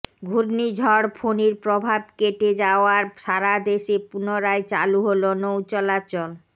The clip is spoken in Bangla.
ঘূর্ণিঝড় ফণীর প্রভাব কেটে যাওয়ার সারাদেশে পুনরায় চালু হলো নৌ চলাচল